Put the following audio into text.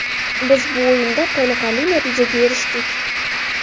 Biz bu o‘yinda qoniqarli natijaga erishdik.